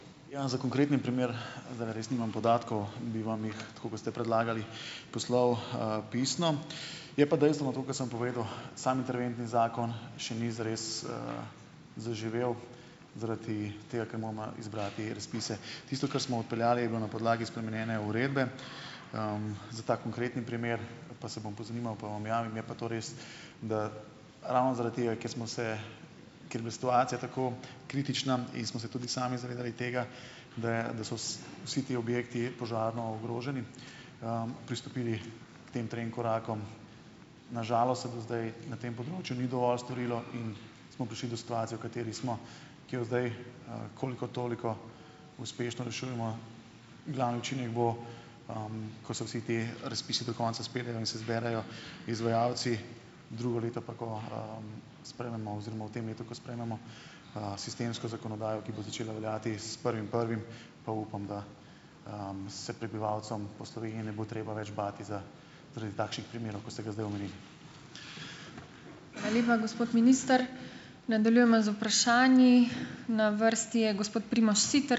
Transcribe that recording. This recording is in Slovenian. Ja, za konkretni primer zdajle res nimam podatkov. Bi vam jih, tako kot ste predlagali, poslal, pisno. Je pa dejstvo, no, to, ke sem povedal, sam interventni zakon še ni zares, zaživel zaradi tega, ker moramo izbrati razpise. Tisto, kar smo odpeljali, je bilo na podlagi spremenjene uredbe. Za ta konkretni primer pa se bom pozanimal pa vam javim, je pa to res, da ravno zaradi tega, ker smo se, ker je bila situacija tako kritična in smo se tudi sami zavedali tega, da je, so vsi ti objekti, požarno ogroženi, pristopili k tem trem korakom. Na žalost se do zdaj na tem področju ni dovolj storilo in smo prišli do situacije, v kateri smo, ki jo zdaj, koliko toliko uspešno rešujemo. Glavni učinek bo, ko se vsi ti razpisi do konca izpeljejo in se izberejo izvajalci, drugo leto pa, ko, sprejmemo, oziroma v tem letu, ko sprejmemo, sistemsko zakonodajo, ki bo začela veljati s prvim prvim, pa upam, da, se prebivalcem po Sloveniji ne bo treba več bati zaradi takšnih primerov, kot ste ga zdaj omenili.